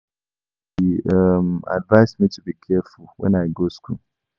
He um advice me to be careful wen I go school